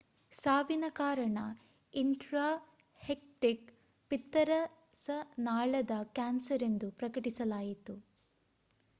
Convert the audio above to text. ಸಾವಿನ ಕಾರಣ ಇನ್ಟ್ರಾಹೆಪ್ಟಿಕ್ ಪಿತ್ತರಸನಾಳದ ಕ್ಯಾನ್ಸರ್ ಎಂದು ಪ್ರಕಟಿಸಲಾಯಿತು